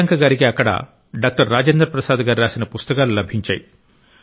ప్రియాంక గారికి అక్కడ డాక్టర్ రాజేంద్ర ప్రసాద్ గారు రాసిన పుస్తకాలు లభించాయి